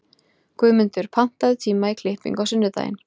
Guðmundur, pantaðu tíma í klippingu á sunnudaginn.